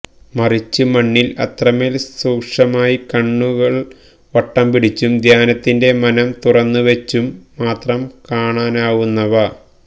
മറിച്ച് മണ്ണില് അത്രമേല് സൂക്ഷ്മമായി കണ്ണു കള് വട്ടം പിടിച്ചും ധ്യാനത്തിന്റെ മനം തുറന്നുവെച്ചും മാത്രം കാണാനാവുന്നവ